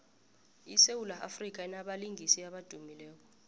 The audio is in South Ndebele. isewula afrika inabalingiswa abadumileko